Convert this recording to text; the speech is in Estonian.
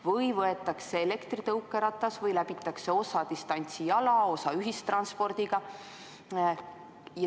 Või võetakse elektritõukeratas või läbitakse osa distantsi jala, osa ühissõidukiga.